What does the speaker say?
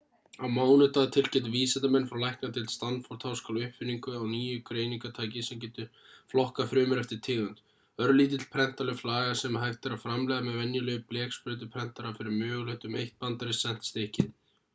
á mánudag tilkynntu vísindamenn frá læknadeild stanford-háskóla uppfinningu á nýju greiningartæki sem getur flokkað frumur eftir tegund örlítill prentanleg flaga sem hægt er að framleiða með venjulegum bleksprautuprentara fyrir mögulega um eitt bandarískt sent stykkið